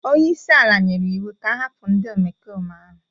onye isi ala nyere iwu ka ahapụ ndị omekome ahụ